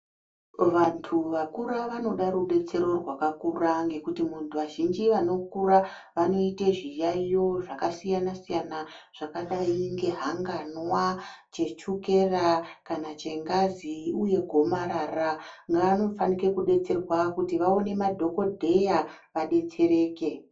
Vantu vakura vanoda rubetsero rwakakura ngekuti muntu azhinji anokura vanoite zviyayiyo zvakasiyana siyana zvakadai kunge hanganwa, chechukera kana chengazi uye gomarara. Ngaanofanike kudetserwa kuti vawone madhogodheya vadetsereke.